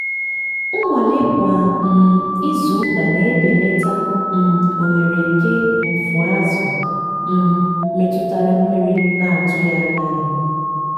nnwale kwa um izuụka na-ebelata um ohere nke mfu azụ̀ um metụtara mmiri na-atụghị anya ya.